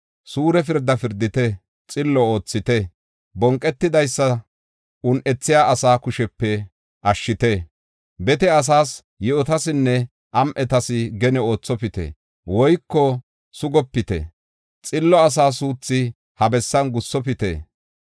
Suure pirdaa pirdite; xillo oothite. Bonqetidaysa un7ethiya asaa kushepe ashshite. Bete asaas, yi7otasinne am7etas gene oothopite woyko sugopite. Xillo asa suuthu ha bessan gussofite.